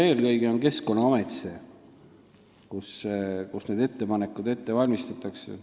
Eelkõige on Keskkonnaamet see koht, kus need ettepanekud ette valmistatakse.